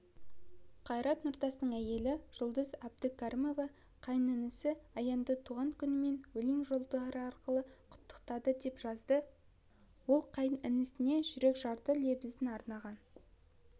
қайрат нұртастың әйелі жұлдыз әбдукәрімова қайынінісі аянды туған күнімен өлең жолдары арқылы құттықтады деп жазады ол қайынінісіне жүрекжарды лебізін арнаған